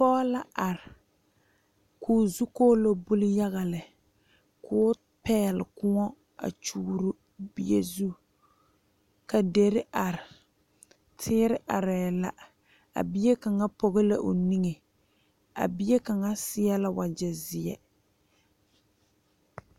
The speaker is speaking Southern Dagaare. Pɔge la are ko'o zukɔlo buli yaga lɛ ko'o pegle kõɔ a kyɔɔro bie zu ka dire are teere are la bie kaŋa pɔge la o niŋe a bie kaŋa seɛ la wagye ziɛ.